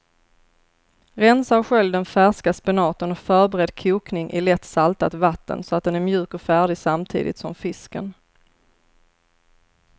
Rensa och skölj den färska spenaten och förbered kokning i lätt saltat vatten så att den är mjuk och färdig samtidigt som fisken.